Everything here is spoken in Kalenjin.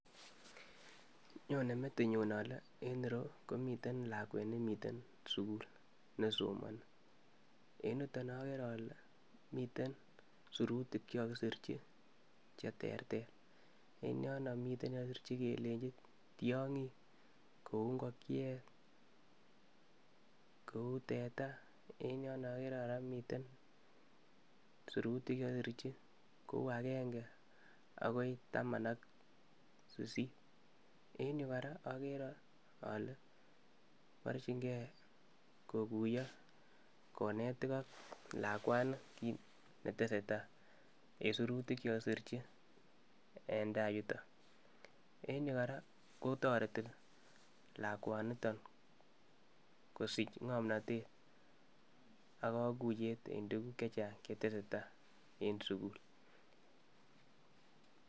Nyone metinyun ole en ireyuu komiten lakwet nemiten sukul nesomoni en yuton okere ole miten sirutik chekokisirchi cheterter en yono miten yekokisirchi kelenji tyonkik kou ingokyet, kou teta en yono okere koraa miten sirutik chekokisirchi kou agenge akoi taman ak sisit .En yuu koraa okere ole borchingee kokuyo konet iko lakwani kit netesetai en sirutik chekokisirchi en tai yuton en yuu koraa kotoreti lakwaniton kosich ngomnotet ak kokuyet en tukuk chechang chetesetai en sukul.